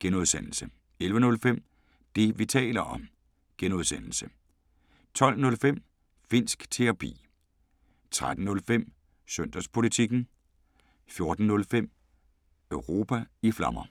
(G) 11:05: Det, vi taler om (G) 12:05: Finnsk Terapi 13:05: Søndagspolitikken 14:05: Europa i Flammer